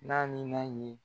N'a ni ma ɲe